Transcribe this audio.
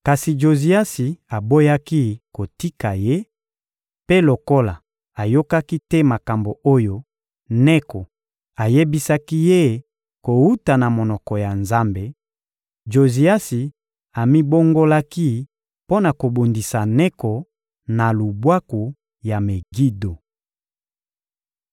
Kasi Joziasi aboyaki kotika ye, mpe lokola ayokaki te makambo oyo Neko ayebisaki ye kowuta na monoko ya Nzambe, Joziasi amibongolaki mpo na kobundisa Neko na lubwaku ya Megido.